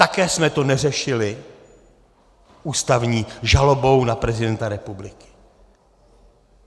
Také jsme to neřešili ústavní žalobou na prezidenta republiky.